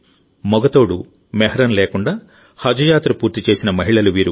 మగ సహచరుడుమెహ్రం లేకుండా హజ్ యాత్ర పూర్తి చేసిన మహిళలు వీరు